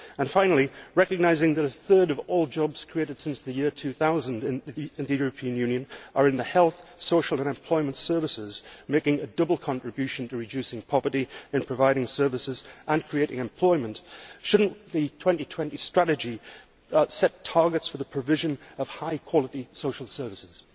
Finally, recognising that a third of all jobs created since the year 2000 in the European Union are in the health, social and employment services, making a double contribution to reducing poverty, providing services and creating employment, should the 2020 Strategy not set targets for the provision of high quality social services?